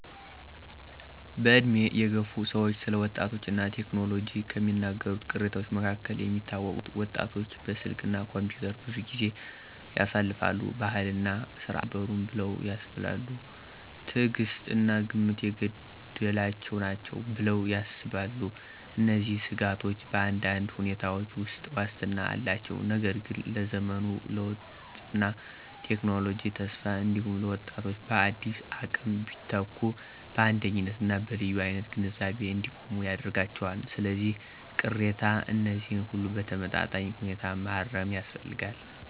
በዕድሜ የገፉ ሰዎች ስለ ወጣቶች እና ቴክኖሎጂ ከሚናገሩት ቅሬታዎች መካከል የሚታወቁት: ወጣቶች በስልክ እና ኮምፒውተር ብዙ ጊዜ ያሳልፋሉ። ባህልና ሥርዓትን አያከብሩም ብለው ያስባሉ። ትዕግሥት እና ግምት የጎደላቸው ናቸው ብለው ያስባሉ። እነዚህን ስጋቶች በአንዳንድ ሁኔታዎች ውስጥ ዋስትና አላቸው፣ ነገር ግን ለዘመኑ ለውጥና ለቴክኖሎጂ ተስፋ እንዲሁም ለወጣቶች በአዳዲስ አቅም ቢተኩ በአንደኝነት እና በልዩ አይነት ግንዛቤ እንዲቆሙ ያደርጋቸዋል። ስለዚህ፣ ቅሬታ እነዚህን ሁሉ በተመጣጣኝ ሁኔታ ማረም ያስፈልጋል።